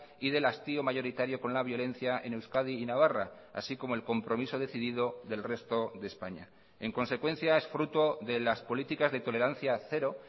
y del hastío mayoritario con la violencia en euskadi y navarra así como el compromiso decidido del resto de españa en consecuencia es fruto de las políticas de tolerancia cero